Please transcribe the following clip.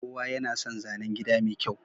Kowa yana son zanen gida mai kyau.